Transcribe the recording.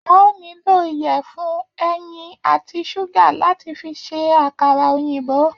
A óò nílò ìyẹ̀fun, ẹyin àti ṣúgà láti fi ṣe àkàrà òyìnbó